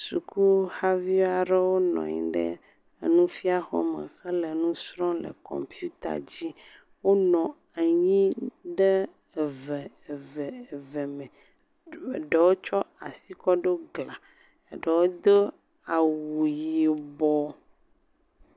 suku haviaɖewo nɔnyi ɖe enufia xɔme hele nusrɔm le kɔmpita dzi wónɔ anyi ɖe eve eve eve me eɖewo tso asi kɔ ɖo glã eɖewo do awu yibɔ